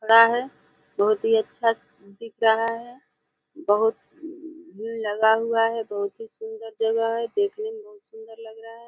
है। बहोत ही अच्छा से दिख रहा है। बहोत लगा हुआ है। बहोत ही सुंदर जगह है। देखने में बहोत सुंदर लग रहा है।